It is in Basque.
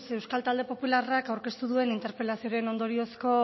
euskal talde popularrak aurkeztu duen interpelazioren ondoriozko